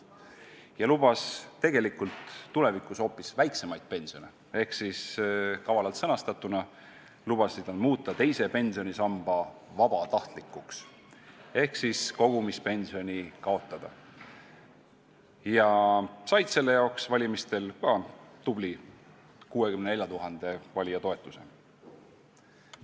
Tema lubas tegelikult tulevikus hoopis väiksemaid pensione ehk kavalalt sõnastatuna lubasid nad muuta teise pensionisamba vabatahtlikuks ehk kogumispensioni kaotada ja said selle jaoks valimistel ka tubli 64 000 valija toetuse.